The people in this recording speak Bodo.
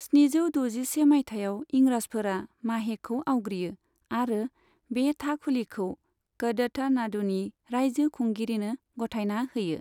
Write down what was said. स्निजौ दजिसे मायथाइयाव इंराजफोरा माहेखौ आवग्रियो आरो बे थाखुलिखौ कदथनाडुनि रायजो खुंगिरिनो गथायना होयो।